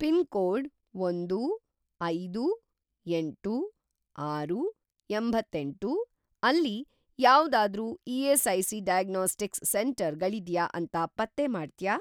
Pin code ಒಂದು, ಐದು, ಎಂಟು, ಆರು, ಎಂಬತ್ತೆಂಟು ಅಲ್ಲಿ ಯಾವ್ದಾದ್ರೂ ಇ.ಎಸ್.ಐ.ಸಿ. ಡಯಾಗ್ನೋಸ್ಟಿಕ್ಸ್‌ ಸೆಂಟರ್ ಗಳಿದ್ಯಾ ಅಂತ ಪತ್ತೆ ಮಾಡ್ತ್ಯಾ?